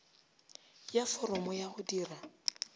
ya foromo ya go dira